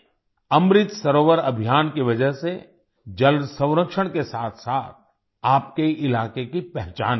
अमृत सरोवर अभियान की वजह से जल संरक्षण के साथसाथ आपके इलाके की पहचान भी बनेगी